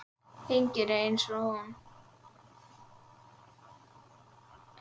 Enginn er eins og hún.